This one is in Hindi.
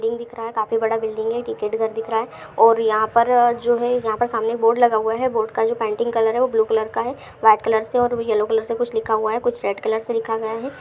बिल्डिंग दिख रहा है काफी बड़ा बिल्डिंग है। टिकट घर दिख रहा है। और यहां परजो है यहां पर सामने बोर्ड लगा हुआ है। बोर्ड का जो पेंटिंग कलर है वो ब्लू कलर का है। व्हाइट कलर से और येलो कलर से कुछ लिखा हुआ है कुछ रेड कलर से लिखा गया है।